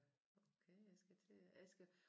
Okay jeg skal til jeg skal